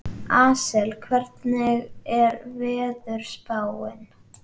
Asael, hvernig er veðurspáin?